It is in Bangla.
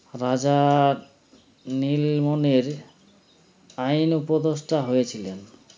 রাজার নীলমণির আইন উপদেষ্টা হয়ে ছিলেন